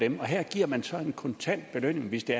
her giver man så en kontant belønning hvis det